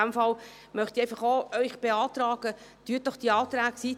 In diesem Fall möchte ich Ihnen auch beantragen, dass Sie die Anträge ablehnen.